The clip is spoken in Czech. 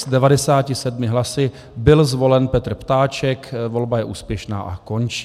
S 97 hlasy byl zvolen Petr Ptáček, volba je úspěšná a končí.